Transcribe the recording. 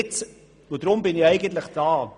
Deshalb bin ich hier am Rednerpult.